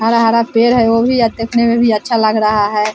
हरा-हरा पेड़ है वो भी अब देखने में भी अच्छा लग रहा है।